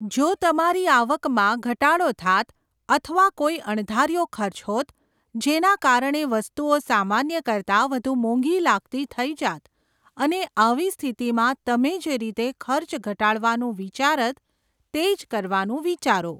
જો તમારી આવકમાં ઘટાડો થાત અથવા કોઈ અણધાર્યો ખર્ચ હોત જેના કારણે વસ્તુઓ સામાન્ય કરતાં વધુ મોંઘી લાગતી થઈ જાત અને આવી સ્થિતિમાં તમે જે રીતે ખર્ચ ઘટાડવાનું વિચારત તે જ કરવાનું વિચારો.